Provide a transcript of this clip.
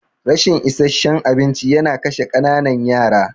Rashin isasshen abinci yana kashe ƙananan yara.